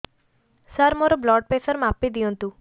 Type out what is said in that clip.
ସାର ମୋର blood pressure ମାପି ଦିଅନ୍ତୁ